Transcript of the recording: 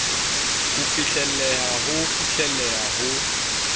ho fihlelleha ho fihlelleha ho